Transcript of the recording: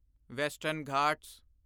western Ghat